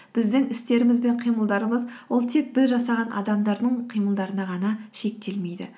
біздің істеріміз бен қимылдарымыз ол тек біз жасаған адамдардың қимылдарына ғана шектелмейді